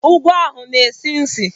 Ngwọ ahụ na-esi ísì.